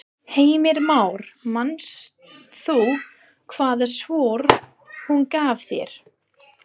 Heimir Már: Manst þú hvaða svör hún gaf þér?